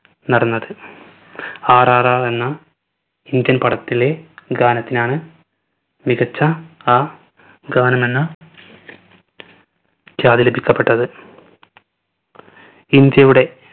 നടന്നത്. RRR എന്ന indian പടത്തിലെ ഗാനത്തിനാണ് മികച്ച ആ ഗാനമെന്ന് ലഭിക്കപ്പെട്ടത്. ഇന്ത്യയുടെ